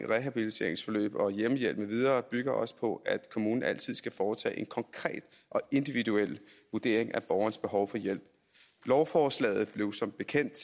rehabiliteringsforløb og hjemmehjælp med videre bygger også på at kommunen altid skal foretage en konkret og individuel vurdering af borgerens behov for hjælp lovforslaget blev som bekendt